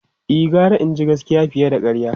E, gara jin gaskiya fiye da karya.